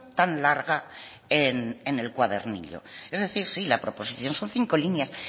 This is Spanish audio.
tan larga en el cuadernillo es decir sí la proposición son cinco líneas